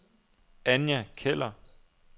Anja Keller